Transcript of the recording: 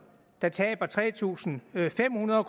der taber tre tusind fem hundrede